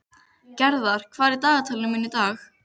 Gerðar, hvað er í dagatalinu mínu í dag?